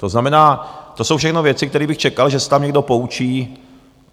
To znamená, to jsou všechno věci, které bych čekal, že se tam někdo poučí.